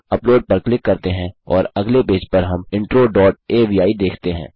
upload पर click करते हैं और अगले पेज पर हम इंट्रो डॉट अवि देखते हैं